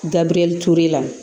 Dabiriyɛli ture la